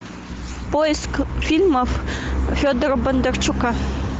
поиск фильмов федора бондарчука